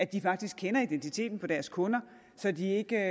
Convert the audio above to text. de faktisk kender identiteten på deres kunder og så de ikke